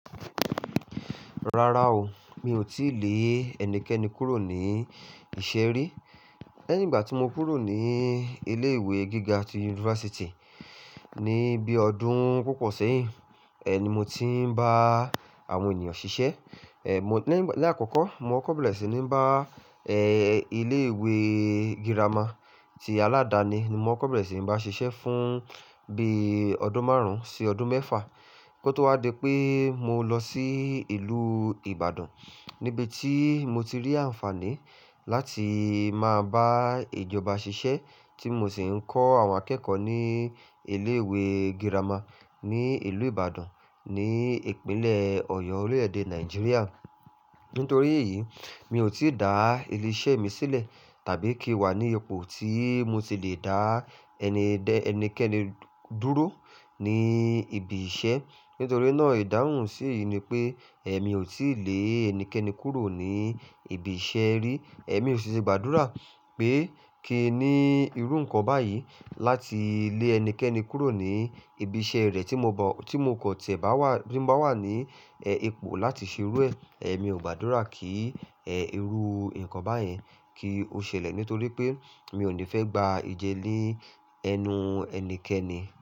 Rárá o, mi ò tíì lé ẹnikẹni kúrò ní ìṣe rí. Lẹ́yìn ìgbà tí mo kúrò ní ilé ìwé gíga ti yunifásítì, ní bí ọdún púpọ̀ sẹ́yìn, ẹ, ni mo ti ń bá àwọn ènìyàn ṣiṣẹ́. Ẹ, mo-- lẹ́ àkọ́kọ́, mo kọ́kó bèẹ̀rẹ̀ sí ní ń bá, ẹ́, ilé ìwé girama ti aládàáni ni mo kọ́bẹ̀rẹ̀ sí ń bá ṣiṣẹ́ fún bí ọdún márùn-ún sí ọdún mẹ́fà, kó tó wá di pé mo lọ sí ìlú Ibadan níbi tí mo ti rí àǹfààní láti máa bá ìjọba ṣiṣẹ́ tí mo sì ń kọ́ àwọn akẹ́kọ̀ọ́ ní ilé ìwé girama ní ìlú Ibadan ni ìpínlẹ̀ Ọ̀yọ́ orílẹ̀-èdè Nàìjíríà. Nítorí èyí, mi ò tí dà ilé iṣẹ́ mi sílẹ̀ tàbí kí wà ní ipò tí mo ti le dà ẹni-- ẹnikẹni dúró ní ibi iṣẹ́. Nítorí náà ìdáhùn sì'yí ni pé ẹ mi ò tí lè ẹnikẹni kúrò ní ibi iṣẹ́ rí. Ẹ̀mí ò sì ṣe gbàdúrà pé kí i ní irú nǹkan báyìí láti lé ẹnikẹni kúrò ní ibi iṣẹ́ rẹ̀ tí mo bọ-- tí mo kò tẹ̀ bá wà-- tí n bá wà ní, ẹ́, ipò láti ṣe irú ẹ. Ẹ̀mí ò gbàdúrà kí, ẹ́, irú nǹkan báyẹn kí ó ṣẹlẹ̀ nítorí pé mi ò ní fẹ́ gba ìje ní ẹnu ẹnikẹni.